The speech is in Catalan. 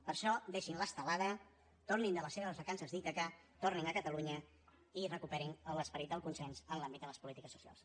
per això deixin l’estelada tornin de les seves vacances d’ítaca tornin a catalunya i recuperin l’esperit del consens en l’àmbit de les polítiques socials